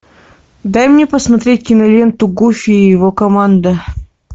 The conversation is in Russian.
дай мне посмотреть киноленту гуфи и его команда